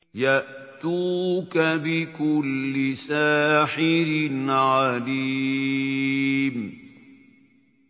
يَأْتُوكَ بِكُلِّ سَاحِرٍ عَلِيمٍ